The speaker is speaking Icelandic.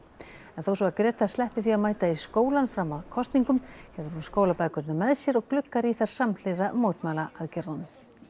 en þó svo að Greta sleppi því að mæta í skólann fram að kosningum hefur hún skólabækurnar með sér og gluggar í þær samhliða mótmælaaðgerðunum